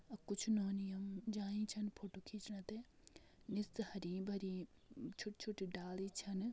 कुछ नौनी यम जाईं छन फोटो खींचणा तैं निस हरीं भरीं अम-छोटी छोटी डाली छन।